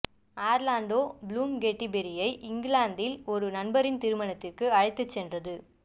Orlando Bloom Katy பெர்ரியை இங்கிலாந்தில் ஒரு நண்பரின் திருமணத்திற்கு அழைத்துச் சென்றது